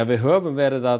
við höfum verið að